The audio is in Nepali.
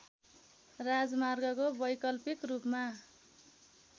राजमार्गको वैकल्पिक रूपमा